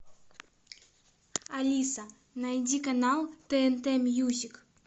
алиса найди канал тнт мьюзик